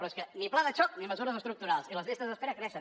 però és que ni pla de xoc ni mesures estructurals i les llistes d’espera creixen